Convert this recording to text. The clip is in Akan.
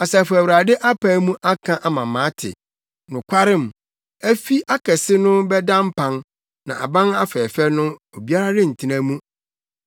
Asafo Awurade apae mu aka ama mate: “Nokwarem, afi akɛse no bɛda mpan, na aban afɛɛfɛ no, obiara rentena mu.